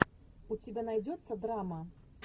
у тебя найдется драма